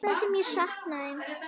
Það sem ég sakna þín.